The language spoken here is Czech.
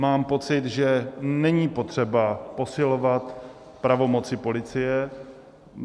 Mám pocit, že není potřeba posilovat pravomoci policie.